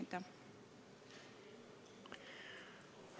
Aitäh!